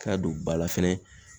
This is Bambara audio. K'a don ba la fɛnɛ